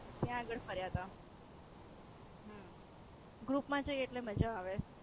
કયા આગળ ફર્યા તા. હમ ગ્રુપ મા જયે એટલે મજા આવે.